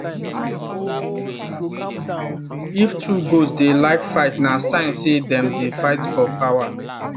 if two goats dey like fight na sign say them dey fight for power